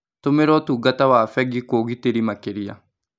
Tũmĩra ũtungata wa bengi kwa ũgitĩri makĩria.